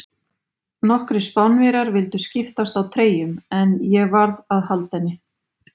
Nokkrir Spánverjar vildu skiptast á treyjum, en ég varð að halda henni.